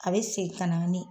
A bɛ segin kana ni